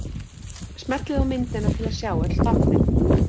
Smellið á myndina til að sjá öll táknin.